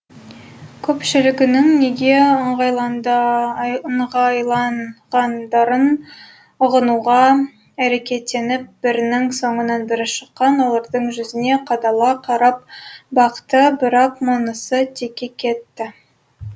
көпшілігінің неге ыңғайланғандарын ұғынуға әрекеттеніп бірінің соңынан бірі шыққан олардың жүзіне қадала қарап бақты бірақ мұнысы текке кетті